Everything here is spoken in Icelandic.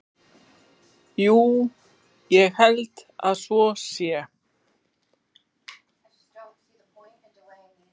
Jú, ég held að svo sé.